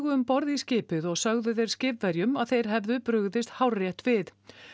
um borð í skipið og sögðu þeir skipverjum að þeir hefðu brugðist hárrétt við